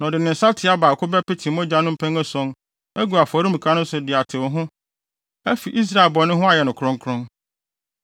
Na ɔde ne nsateaa baako bɛpete mogya no mpɛn ason agu afɔremuka no so de atew ho afi Israelfo bɔne no ho ayɛ no kronkron.